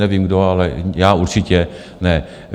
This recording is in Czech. Nevím kdo, ale já určitě ne.